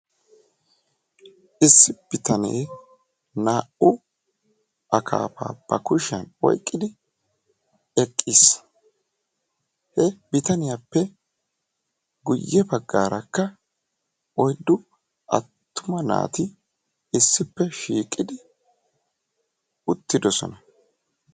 issi bittane naa"u akkaaffa ba kushiyani oyqidi eqiisi he bittaniyappe guyessara oyddu attuma naati issipe shiiqidi uttidossona.